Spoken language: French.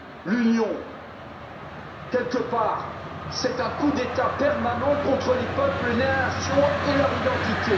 L'Union, quelque part, c'est un coup d'État permanent contre les peuples, les nations et leur identité.